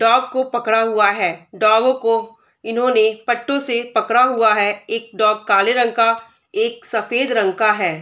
dog को पकड़ा हुआ है | डॉग को इन्होने पट्टों से पकड़ा हुआ है | एक डॉग काले रंग का एक सफेद रंग का है |